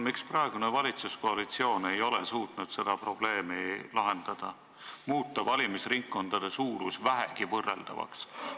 Miks praegune valitsuskoalitsioon ei ole suutnud seda probleemi lahendada ja muuta valimisringkondade suurust vähegi võrreldavaks?